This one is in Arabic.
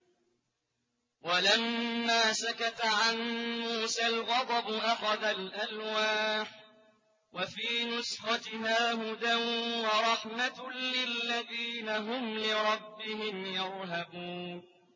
وَلَمَّا سَكَتَ عَن مُّوسَى الْغَضَبُ أَخَذَ الْأَلْوَاحَ ۖ وَفِي نُسْخَتِهَا هُدًى وَرَحْمَةٌ لِّلَّذِينَ هُمْ لِرَبِّهِمْ يَرْهَبُونَ